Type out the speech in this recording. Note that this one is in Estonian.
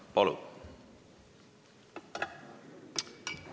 Palun!